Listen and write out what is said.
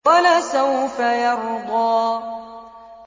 وَلَسَوْفَ يَرْضَىٰ